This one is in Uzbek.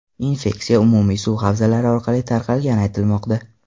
Infeksiya umumiy suv havzalari orqali tarqalgani aytilmoqda.